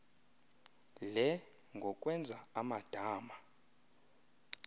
le ngokwenza amadama